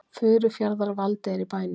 Furufjarðar-Valdi er í bænum.